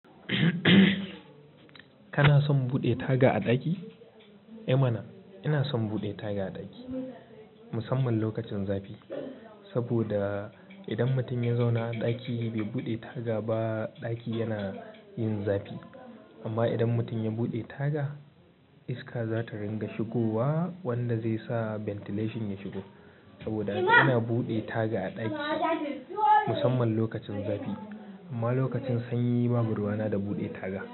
Kana son buɗe taga a ɗaki? I mana! Ina son buɗe taga a ɗaki, musamman lokacin zafi. Saboda idan mutum ya zauna a ɗaki bai buɗe taga ba, ɗaki yana yin zafi. Amma idan mutum ya buɗe taga, iska za ta ringa shigowa wanda zai sa ventilation ya shigo. Saboda haka ina buɗe taga a ɗakina musamman lokacin zafi. Amma lokacin sanyi babu ruwana da buɗe taga.